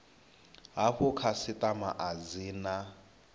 hafhu khasitama a dzi na